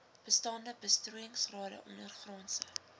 bestaande besproeiingsrade ondergrondse